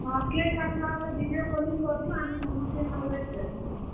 ହଁ cake କାଟ୍ ଲା ବେଲେ video calling କର୍ ବୁ ଆମେ ସମସ୍ତେ ଇନ wait କରିଥିମୁଁ।